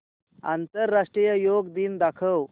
आंतरराष्ट्रीय योग दिन दाखव